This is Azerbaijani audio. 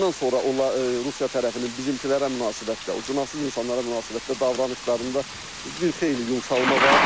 Ondan sonra Rusiya tərəfinin bizimkilərə münasibətdə, o günahsız insanlara münasibətdə davranışlarında bir xeyli yumşalma var.